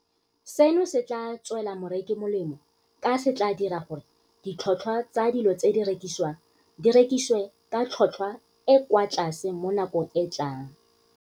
Seno se tla tswela moreki molemo ka se tla dira gore ditlhotlhwa tsa dilo tse di rekisiwang di rekisiwe ka tlhotlhwa e e kwa tlase mo nakong e e tlang.